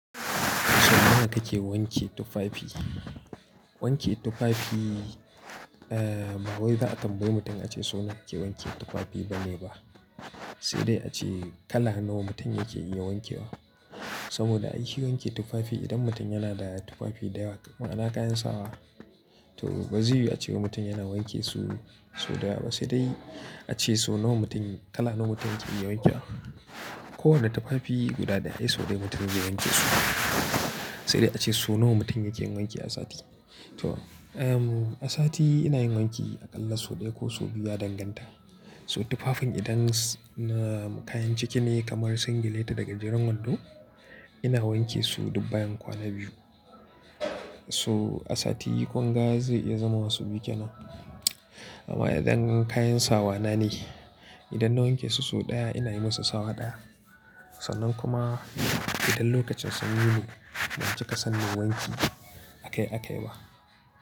Sau nawa kake wanke tufafi? Wanke tufafi, ba wai za a tambayi mutum ace so nawa ake wanke tufafi bane ba, sai dai ace kala nawa mutum yake iya wankewa. Saboda aishi wanke tufafi idan mutum yana da tufafi dayawa, ma'ana kayan sawa. To ba zai yu a cewa mutum yana wanke su, so dayawa, sai dai ace so nawa mutum, kala nawa mutum yake iya wanke wa. Ko wanda tufafi guda da ai so ɗaya mutum zai wanke su. Sai dai ace so nawa mutum yake wanke a sati. To, a sati ina yin wanki aƙalla so ɗaya ko so biyu a danganta. So tufafin idan na kayan ciki ne kamar singileta daga jeren wando, ina wanke su dubbayen kwana biyu. So a sati gungaza ya zama wasu biyu kenan. Amma idan kayan sawa na ne, idan na wanke su so ɗaya ina yi musu sawa ɗaya. Sannan kuma idan lokacin sun yi mu, ban cika san na wanke a kai a kai ba.